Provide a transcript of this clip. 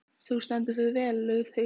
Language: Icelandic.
Þú stendur þig vel, Laugheiður!